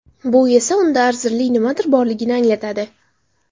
Bu esa unda arzirli nimadir borligini anglatadi.